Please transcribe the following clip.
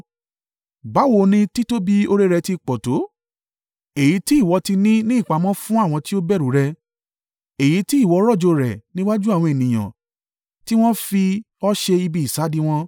Báwo ni títóbi oore rẹ̀ ti pọ̀ tó, èyí tí ìwọ ti ní ní ìpamọ́ fún àwọn tí ó bẹ̀rù rẹ, èyí tí ìwọ rọ̀jò rẹ̀ níwájú àwọn ènìyàn tí wọ́n fi ọ́ ṣe ibi ìsádi wọn.